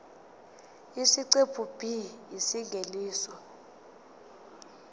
isiqephu b isingeniso